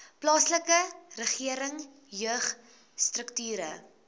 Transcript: plaaslike regering jeugstrukture